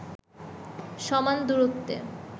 সমান দূরত্বে